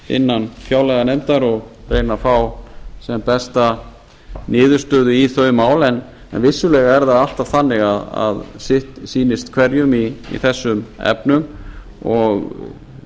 innan fjárlaganefndar og reyna að fá sem besta niðurstöðu í þau mál en vissulega er það alltaf þannig að sitt sýnist hverjum í þessum efnum og